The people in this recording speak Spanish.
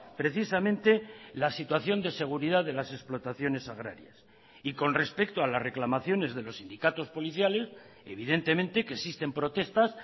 precisamente la situación de seguridad de las explotaciones agrarias y con respecto a las reclamaciones de los sindicatos policiales evidentemente que existen protestas